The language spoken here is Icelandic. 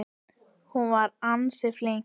Hún var ansi flink.